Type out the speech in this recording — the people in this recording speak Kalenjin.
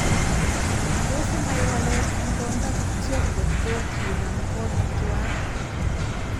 toss inai walet eng konda kityo ngotko kinam konyech tuwai